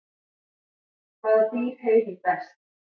Hvaða dýr heyrir best?